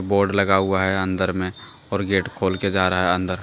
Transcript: Board लगा हुआ हैं अन्दर में और गेट खोल के जा रहा हैं अन्दर।